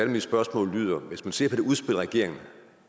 mine spørgsmål lyder hvis man ser på det udspil regeringen